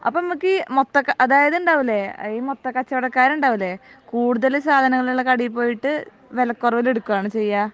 അപ്പൊ നമ്മക് മൊത്ത അതായത് ഉണ്ടാവുലെ ഈ മൊത്തക്കച്ചവടക്കാർ ഉണ്ടാവില്ലേ കൂടുതൽ സാധനങ്ങൾ ഉള്ള കടയിൽ പോയിട്ട് വെലക്കുറവിൽ എടുക്കുവാനോ ചെയ്യേ